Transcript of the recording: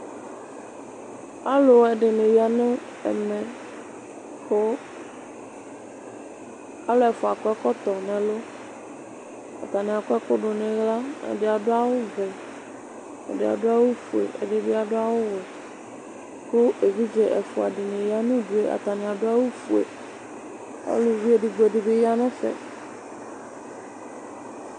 Alʋɛdɩnɩ ya nʋ ɛmɛ kʋ alʋ ɛfua akɔ ɛkɔtɔ n'ɛlʋ atanɩ akɔ ɛkʋ dʋ n'ɩɣla, ɛdɩ adʋ awʋ vɛ, ɛdɩ adʋ awʋ fue, ɛdɩ bɩ adʋ awʋ wɛ kʋ evidze ɛfua dɩnɩ ya nʋ udu yɛ, atanɩ adʋ awʋ fue, uluvi edigbo dɩ bɩ ya n'ɛƒɛ